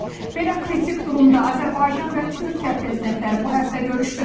Belə kritik durumda Azərbaycan və Türkiyə prezidentləri bu həftə görüşdü.